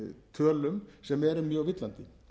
tölum sem eru mjög villandi